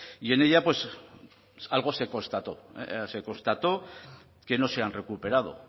y en ella pues algo se constató se constató que no se han recuperado